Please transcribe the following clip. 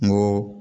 N go